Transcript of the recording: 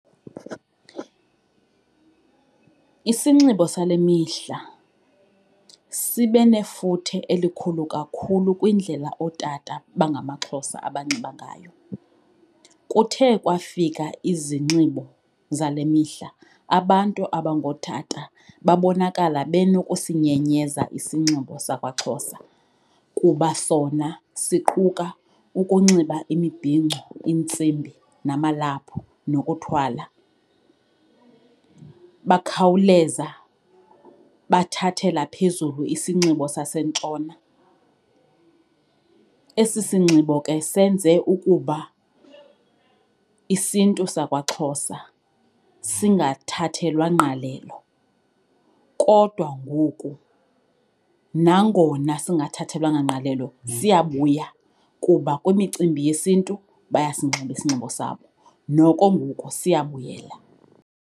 Isinxibo sale mihla sibe nefuthe elikhulu kakhulu kwindlela ootata abangamaXhosa abanxiba ngayo. Kuthe kwafika izinxibo zale mihla abantu abangootata babonakala benokusinyenyeza isinxibo sakwaXhosa kuba sona siquka ukunxiba imibhinco, iintsimbi, namalaphu, nokuthwala, bakhawuleza bathathela phezulu isinxibo saseNtshona. Esi sinxibo ke senze ukuba isiNtu sakwaXhosa singathathelwa ngqalelo, kodwa ngoku nangona singathathelwanga ngqalelo siyabuya kuba kwimicimbi yesiNtu bayasinxiba isinxibo sabo. Noko ngoku siyabuyela.